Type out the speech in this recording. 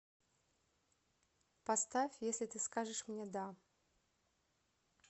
поставь если ты скажешь мне да